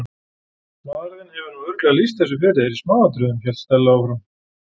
Maðurinn þinn hefur nú örugglega lýst þessu fyrir þér í smáatriðum- hélt Stella áfram.